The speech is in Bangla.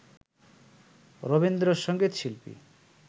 রবীন্দ্র সঙ্গীত শিল্পী